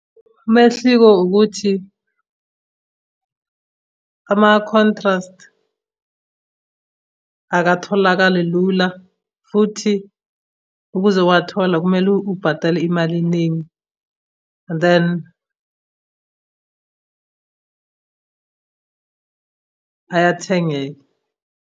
Umehliko ukuthi, ama-contrast akatholakali lula, futhi ukuze uwathola kumele ubhatale imali eningi, and then ayathengeka.